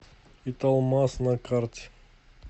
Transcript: италмас на карте